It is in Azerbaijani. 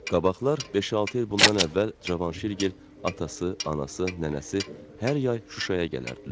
Qabaqlar, beş-altı il bundan əvvəl Cavanşirgil, atası, anası, nənəsi hər yay Şuşaya gələrdilər.